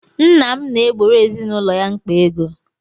Nna na-egboro ezinaụlọ ya mkpa ego.